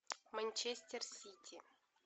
манчестер сити